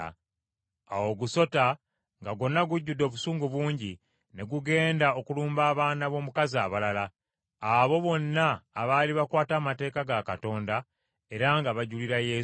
Awo ogusota, nga gwonna gujjudde obusungu bungi, ne gugenda okulumba abaana b’omukazi abalala, abo bonna abaali bakwata amateeka ga Katonda era nga bajulira Yesu.